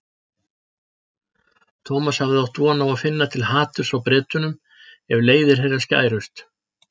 Thomas hafði átt von á að finna til haturs á Bretunum ef leiðir þeirra skærust.